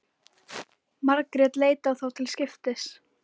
Margrét leit á þá til skiptis.